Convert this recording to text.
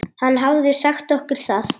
Hann hafði sagt okkur það.